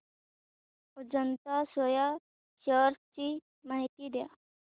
Ajanta Soya shares ची माहिती द्या